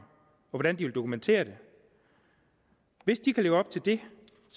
hvordan de vil dokumentere det hvis de kan leve op til det